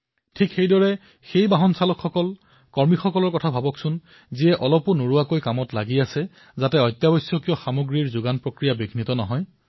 ঠিক সেইদৰে সেই চালক সেই কৰ্মীসকলৰ কথা ভাবক যিয়ে অহৰহ এনেদৰে কামত ব্যস্ত হৈ পৰিছে যাতে দেশৰ অত্যাৱশ্যকীয় সামগ্ৰীসমূহৰ যোগান শৃংখলা ব্যাহত নহয়